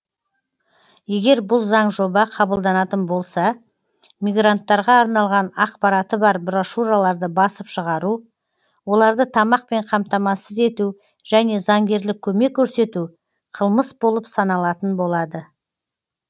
егер бұл заңжоба қабылданатын болса мигранттарға арналған ақпараты бар брошюраларды басып шығару оларды тамақпен қамтамасыз ету және заңгерлік көмек көрсету қылмыс болып саналатын болады